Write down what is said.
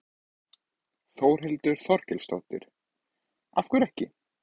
Þórhildur Þorkelsdóttir: Af hverju ekki?